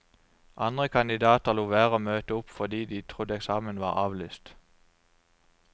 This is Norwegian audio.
Andre kandidater lot være å møte opp fordi de trodde eksamen var avlyst.